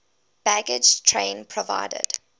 baggage train provided